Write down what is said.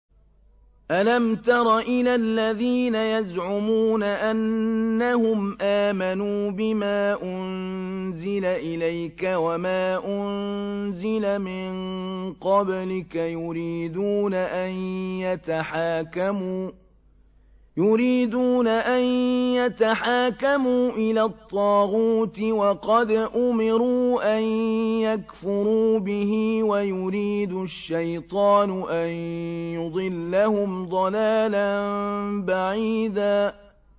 أَلَمْ تَرَ إِلَى الَّذِينَ يَزْعُمُونَ أَنَّهُمْ آمَنُوا بِمَا أُنزِلَ إِلَيْكَ وَمَا أُنزِلَ مِن قَبْلِكَ يُرِيدُونَ أَن يَتَحَاكَمُوا إِلَى الطَّاغُوتِ وَقَدْ أُمِرُوا أَن يَكْفُرُوا بِهِ وَيُرِيدُ الشَّيْطَانُ أَن يُضِلَّهُمْ ضَلَالًا بَعِيدًا